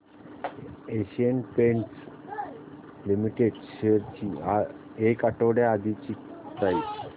Asian Paints limited shares ची एक आठवड्या आधीची प्राइस